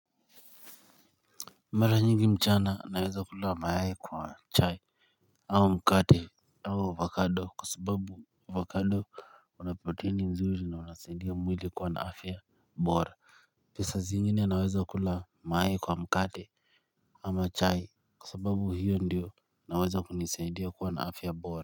Mara nyingi mchana naweza kula mayai kwa chai au mkate au avocado kwa sababu avocado unaprotini nzuri na unasaidia mwili kuwa na afya bora. Na saa zingine naweza kula mayai kwa mkate ama chai kwa sababu hiyo ndiyo naweza kunisaidia kuwa na afya bora.